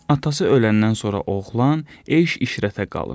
Atası öləndən sonra oğlan eyş-işrətə qalır.